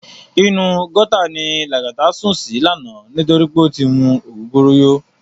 Inú gòtá ni Lagata sún si làná nitóri pé ó ti mú ógógóró yó